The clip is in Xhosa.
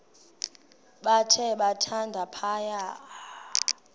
bathe thande phaya